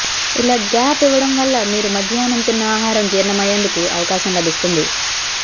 ఇలా గ్యాప్ ఇవ్వడం వల్ల మీరు మధ్యాహ్నం తిన్న ఆహారం జీర్ణమయ్యేందుకు అవకాశం లభిస్తుంది